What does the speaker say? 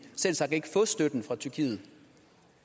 selvsagt ikke få støtten fra tyrkiet